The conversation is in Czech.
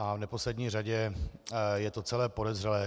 A v neposlední řadě je to celé podezřelé.